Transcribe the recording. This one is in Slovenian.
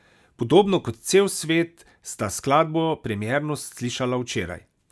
Podobno kot cel svet sta skladbo premierno slišala včeraj.